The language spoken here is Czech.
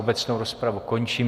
Obecnou rozpravu končím.